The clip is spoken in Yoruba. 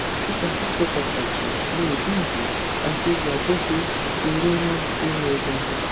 iṣakoso pataki ni idinku ati iṣakoso ti rirun sinu egungun